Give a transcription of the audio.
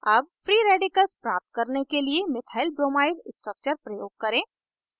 अब free radicals प्राप्त करने के लिए methylbromide structure प्रयोग करें